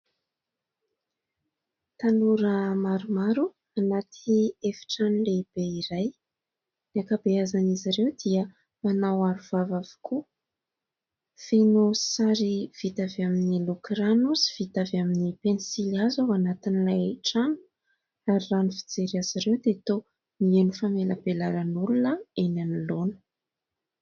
Tanora maromaro anaty efitrano lehibe iray. Ny akabeazan'izy ireo dia manao arovava avokoa. Feno sary vita avy amin'ny loko rano sy vita avy amin'ny pensily hazo ao anatin'ilay trano ary raha ny fijery azy ireo dia toa mihaino famelabelaran'olona eny anoloana.